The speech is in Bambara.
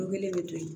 Kelen bɛ to yen